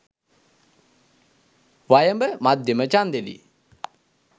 වයඹ මධ්‍යම ඡන්දෙදි